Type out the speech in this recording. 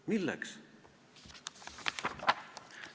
Milleks?